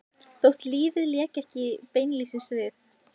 Þótt lífið léki ekki beinlínis við